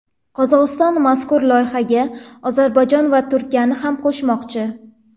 Qozog‘iston mazkur loyihaga Ozarbayjon va Turkiyani ham qo‘shmoqchi.